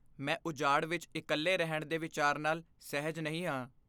ਮੈਂ ਉਜਾੜ ਵਿੱਚ ਇਕੱਲੇ ਰਹਿਣ ਦੇ ਵਿਚਾਰ ਨਾਲ ਸਹਿਜ ਨਹੀਂ ਹਾਂ।